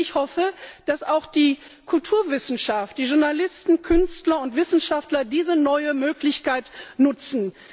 Und ich hoffe, dass auch die Kulturwissenschaften, die Journalisten, Künstler und Wissenschaftler diese neue Möglichkeit nutzen.